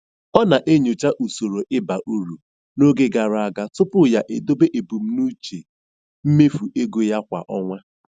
Ọ na-enyocha usoro ịba uru n'oge gara aga tupu ya edobe ebumnuche mmefu ego ya kwa ọnwa.